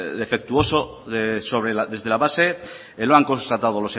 defectuoso desde la base que lo han constatado